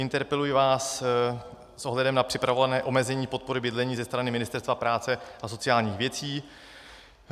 Interpeluji vás s ohledem na připravované omezení podpory bydlení ze strany Ministerstva práce a sociálních věcí.